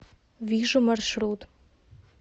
вижу маршрут